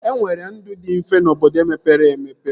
E nwere ndụ dị mfe n'obodo mepere emepe